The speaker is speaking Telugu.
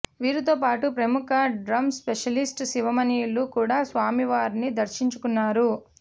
వీరితో పాటు ప్రముఖ డ్రమ్స్ స్పెషలిస్ట్ శివమణిలు కూడా స్వామి వారిని దర్శించుకున్నారు